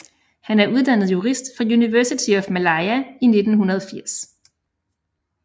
Han er uddannet jurist fra University of Malaya i 1980